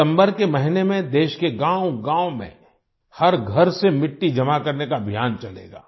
सितंबर के महीने में देश के गाँवगाँव में हर घर से मिट्टी जमा करने का अभियान चलेगा